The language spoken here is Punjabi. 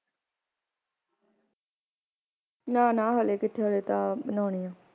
ਨਾ ਨਾ ਹਾਲੇ ਕਿਥੇ ਹਜੇ ਤਾਂ ਬਣਾਉਣੀ ਆ